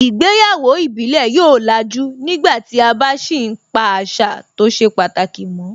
Ìgbéyàwó ìbílẹ̀ yóò làjú nígbàtí a bá sì ń pa àṣà tó ṣe pàtàkì mọ́